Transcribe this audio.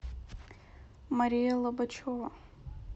мариэлла бычева